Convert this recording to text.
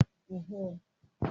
Mo máa sọ orúkọ olórin mẹ́wàá